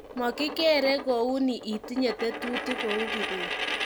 makikerei kouni itinye tetutik kou Kibet